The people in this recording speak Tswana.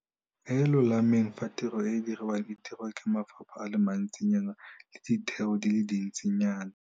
e e lolameng fa tiro e e diriwang e dirwa ke mafapha a le mantsinyana le ditheo di le dintsinyana.